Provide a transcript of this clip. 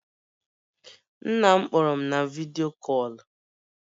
Nna m kpọrọ m vidyo kọlụ